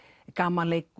gamanleikur